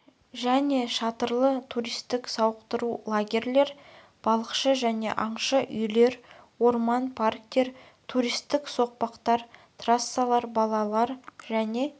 және шатырлы туристік-сауықтыру лагерьлер балықшы және аңшы үйлер орман парктер туристік соқпақтар трассалар балалар және